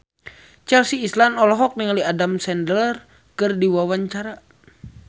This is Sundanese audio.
Chelsea Islan olohok ningali Adam Sandler keur diwawancara